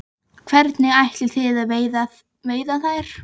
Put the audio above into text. Hvernig ætlið þið að veiða þær?